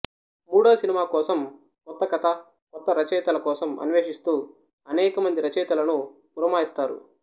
మూడో సినిమా కోసం కొత్త కథ కొత్త రచయితల కోసం అన్వేషిస్తూ అనేకమంది రచయితలను పురమాయిస్తారు